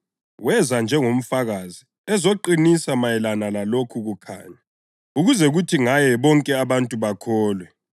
Weza njengomfakazi ezoqinisa mayelana lalokho kukhanya ukuze kuthi ngaye bonke abantu bakholwe.